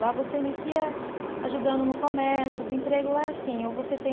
Lá você inicia ajudando no comércio, porque o emprego lá é assim, ou você tem